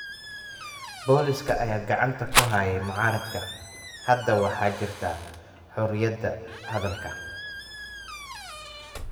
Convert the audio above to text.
Booliiska ayaa gacanta ku hayay mucaaradka. Hadda waxaa jirta xorriyadda hadalka.